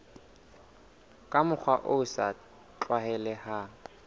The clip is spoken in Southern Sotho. ka mokgwa o sa tlwaelehang